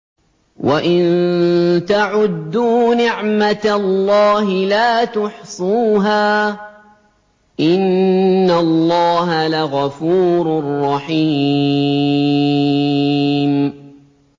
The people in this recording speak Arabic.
وَإِن تَعُدُّوا نِعْمَةَ اللَّهِ لَا تُحْصُوهَا ۗ إِنَّ اللَّهَ لَغَفُورٌ رَّحِيمٌ